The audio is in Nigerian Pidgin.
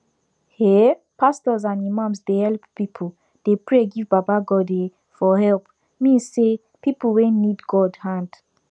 eeh pastos and imams dey helep pipu dey pray give baba godey for helepi mean say pipu wen need god hand